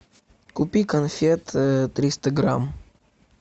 купи конфет триста грамм